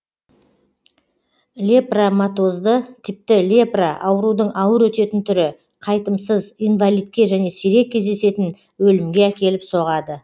лепраматозды типті лепра аурудың ауыр өтетін түрі қайтымсыз инвалидке және сирек кездесетін өлімге әкеліп соғады